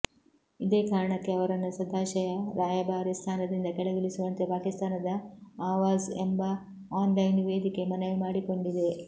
ಇದೇ ಕಾರಣಕ್ಕೆ ಅವರನ್ನು ಸದಾಶಯ ರಾಯಭಾರಿ ಸ್ಥಾನದಿಂದ ಕೆಳಗಿಳಿಸುವಂತೆ ಪಾಕಿಸ್ತಾನದ ಆವಾಝ್ ಎಂಬ ಆನ್ಲೈನ್ ವೇದಿಕೆ ಮನವಿ ಮಾಡಿಕೊಂಡಿದೆ